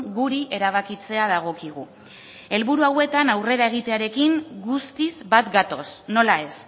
guri erabakitzea dagokigu helburu hauetan aurrera egitearekin guztiz bat gatoz nola ez